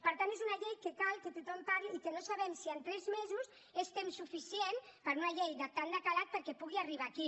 per tant és una llei en què cal que tothom parli i no sabem si tres mesos és temps suficient per a una llei de tant de calat perquè pugui arribar aquí